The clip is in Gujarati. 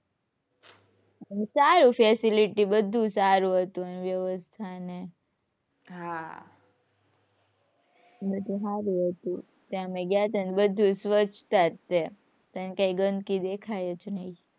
સારું facility બધુ સારું હતું એમ વ્યવસ્થા ને. હાં બધુ સારું હતું. ત્યાં અમે ગયા હતા ને બધુ સ્વછતા જ તે. તને કયાંય ગંદગી દેખાય જ નહીં.